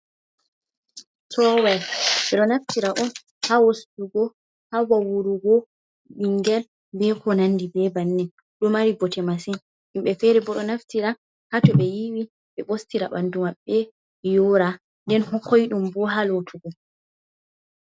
Towel ɓeɗo naftira on ha ostugo, ha vawurugo bingel be ko nandi be bannin, ɗo mari bote masin, himɓe fere bo ɗo naftira hato ɓe yiwi be ɓostira bandu maɓɓe yora nden bo koidum bo ha lotugo.